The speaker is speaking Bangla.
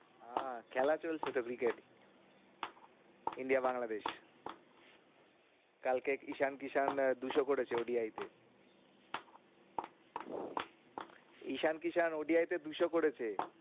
আহ খেলা চলছে তো cricket India বাংলাদেশ কালকে ঈশান কিশান আহ দুশো করেছে ODI তে ঈশান কিশান ODI তে দুশো করেছে।